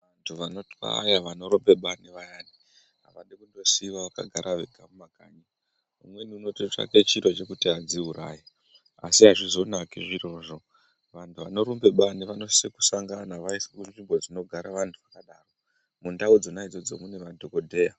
Vanotwaya vanorumba bani vayani, avadi kutosiiwa vakagara vega mumakanyi. Umweni unototsvake chiro chekuti adziuraye, asi azvizonaki zvirozvo. Vanthu vanorumba bani vanosise kusangana vaiswe munzvimbo dzinogara vanthu vakadaro, mundau dzona idzodzo mune madhokodheya.